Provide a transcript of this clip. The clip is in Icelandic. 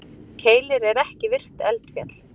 Keilir er ekki virkt eldfjall.